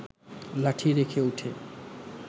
লাঠি রেখে উঠে